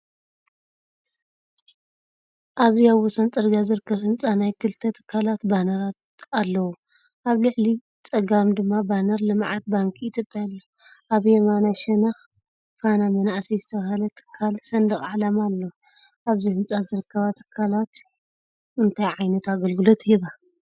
ኣብዚ ኣብ ወሰን ጽርግያ ዝርከብ ህንጻ፡ ናይ ክልተ ትካላት ባነራት ኣለዎ። ኣብ ላዕሊ ጸጋም ድማ ባነር ልምዓት ባንኪ ኢትዮጵያ ኣሎ። ኣብ የማናይ ሸነኽ ፋና መናእሰይ ዝተባህለ ትካል ሰንደቕ ዕላማ ኣሎ። ኣብዚ ህንጻ ዝርከባ ትካላት እንታይ ዓይነት ኣገልግሎት ይህባ?